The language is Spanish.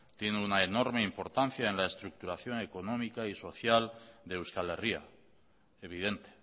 tiene una enorme importancia en la estructuración económica y social de euskal herria evidente